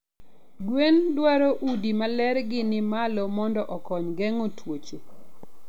Gwen dwaro udi malergi ni malo mondo okong geng'o tuoche.